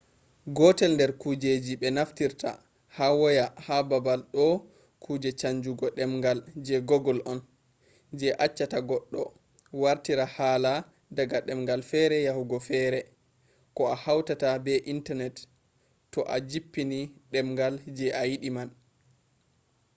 gotel der kujeji be naftirta ha waya ha babal do kuje chanjugo demgal je google on je accata goddo wartira hala daga demgal fere yahugo fere ko a hauta be internet to a jippini demgal je a yidi man